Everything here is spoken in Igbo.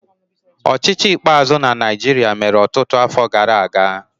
Ọchịchị ikpeazụ na Naịjirịa mere ọtụtụ afọ gara aga.